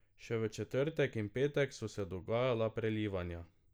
Še v četrtek in petek so se dogajala prelivanja.